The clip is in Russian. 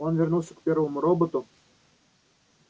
он вернулся к первому роботу